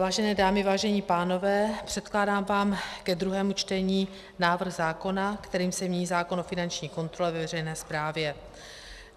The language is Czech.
Vážené dámy, vážení pánové, předkládám vám ke druhému čtení návrh zákona, kterým se mění zákon o finanční kontrole ve veřejné správě.